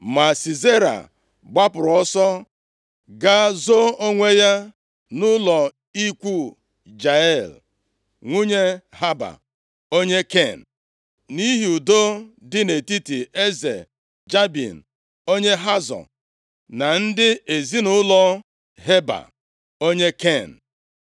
Ma Sisera gbapụrụ ọsọ gaa zoo onwe ya nʼụlọ ikwu Jael, nwunye Heba, onye Ken. Nʼihi udo dị nʼetiti eze Jabin, onye Hazọ, na ndị ezinaụlọ Heba, onye Ken.